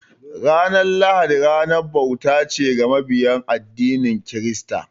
Ranar lahadi ranar bauta ce ga mabiya addinin kirista.